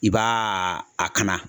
I b'a kana.